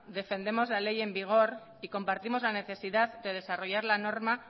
defendemos la ley en vigor y compartimos la necesidad de desarrollar la norma